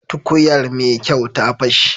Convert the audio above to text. Tukuyar Mai kyau ta fashe.